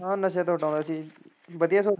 ਹਾਂ ਨਸਿਆ ਤੋਂ ਹਟਾਉਂਦਾ ਸੀ ਵਧੀਆ ਸਗੋਂ।